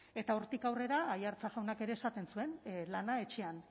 eta hortik aurrera aiartza jaunak ere esaten zuen lana etxean